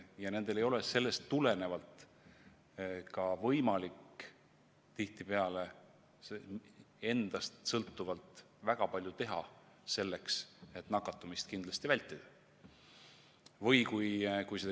Ja sellest tulenevalt ei ole nendel tihtipeale ka võimalik endast sõltuvalt väga palju teha selleks, et nakatumist kindlasti vältida.